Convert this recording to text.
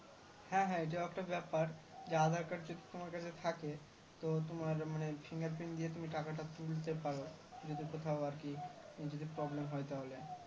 হ্যাঁ হ্যাঁ এটা একটা ব্যাপার যে aadhar card যদি তোমার কাছে থাকে তো তোমার মানে Fingerprint দিয়ে তুমি টাকাটা তুলতে পারো যদি কোথাও আর কি যদি problem হয় তাহলে